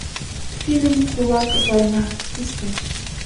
фильм кулак война искать